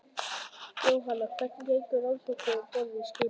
Jóhann: Hvernig gengur rannsóknin um borð í skipinu?